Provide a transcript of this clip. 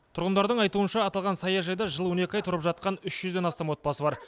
тұрғындардың айтуынша аталған саяжайда жыл он екі ай тұрып жатқан үш жүзден астам отбасы бар